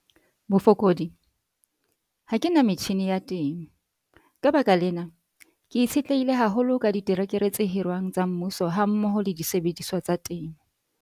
Bofokodi- Ha ke na metjhine ya temo. Ka baka lena, ke itshetlehile haholo ka diterekere tse hirwang tsa Mmuso hammoho le disebediswa tsa temo.